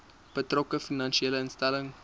betrokke finansiële instelling